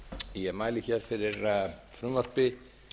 ég mæli fyrir frumvarpi